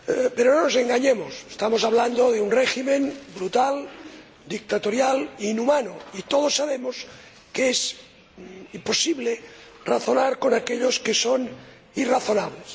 Pero no nos engañemos estamos hablando de un régimen brutal, dictatorial e inhumano, y todos sabemos que es imposible razonar con aquellos que son irrazonables.